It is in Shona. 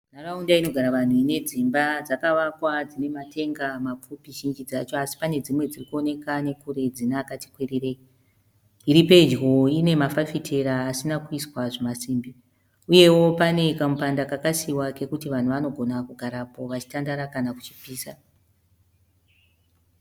Nharaunda inogara vanhu ine dzimba dzakavakwa dzine matenga mapfupi zhinji dzacho asi pane dzimwe dzirikuoneka nekure dzine akati kwirirei iri pedyo ine mafafitera asina kuiswa zvimasimbi uyewo pane kamupanda kakasiiwa kekuti vanhu vanogona kugarapo vachitandara kana kuchipisa.